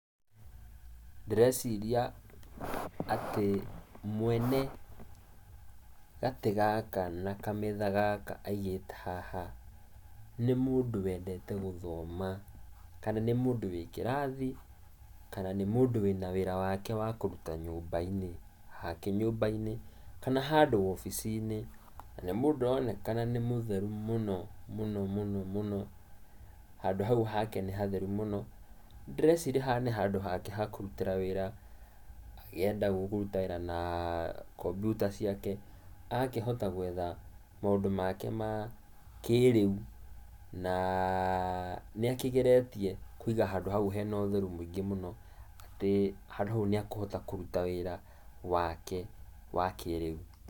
Ndĩreciria atĩ mwene gatĩ gaka na kametha gaka aigĩte haha, nĩ mũndũ wendete gũthoma, kana nĩ mũndũ wĩ kĩrathi, kana nĩ mũndũ wĩna wĩra wake wa kũruta nyũmba-inĩ, hake nyũmba-inĩ kana handũ wabici-inĩ, na nĩ mũndũ ũronekana nĩ mũtheru mũno mũno mũno mũno, handũ haũ hake nĩ hatheru mũno. Ndĩreciria haha nĩ handũ hake ha kũrutĩra wĩra, agĩenda kũruta wĩra naa kambyuta ciake, agakĩhota gwetha maũndũ make makĩrĩu naaa nĩakĩgeretie kũiga handũ hau hena ũtherũ mũingĩ mũno atĩ handũ hau nĩekũhota kũruta wĩra wake wa kĩrĩu.